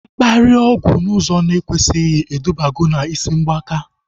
Mkparịa ọgwụ n'ụzọ na ekwesighi edubago na isi mgbaka